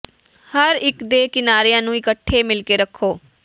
ਹਰ ਇੱਕ ਦੇ ਕਿਨਾਰਿਆਂ ਨੂੰ ਇਕੱਠੇ ਮਿਲ ਕੇ ਰੱਖੋ